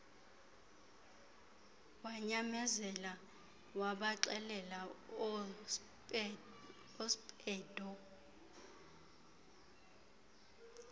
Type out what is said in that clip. wanyamezela wabaxelela oospeedo